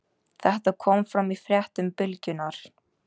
Þetta kom fram í fréttum Bylgjunnar